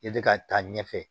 I bɛ ka taa ɲɛfɛ